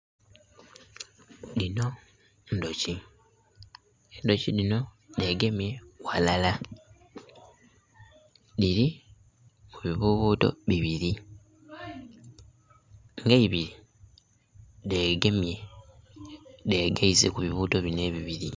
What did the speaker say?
Dhino ndhuki, endhuki dhino dhegemye ghalala dhiri mu bibuubuuto bibiri ng'eibiri dhegemye dhegaise ku bibuubuuto bino ebibiri.